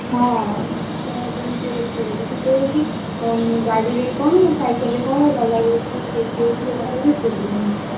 ହଁ ଶୀତ ଏମିତି ବି ଏତେ ଜୋରେ ଶୀତ ହଉଛି, ଗାଡିରେ କଣ ସାଇକେଲରେ କଣ ଗଲାବେଳକୁ ବି ଯୋଉଥିରେ ଗଲେ problem ହଉଛି।